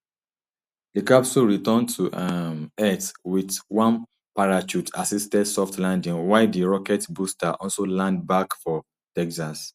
di capsule return to um earth wit one parachuteassisted soft landing while di rocket booster also land back for texas